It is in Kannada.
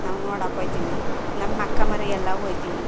ನಾವು ನೋಡಕ್ ಹೋಯ್ ತಿನಿ ನಮ್ಮ ಅಕ್ಕ ಮರಿಯೆಲ್ಲಾ ಎಲ್ಲಾ ಹೋಯ್ ತಿವಿ .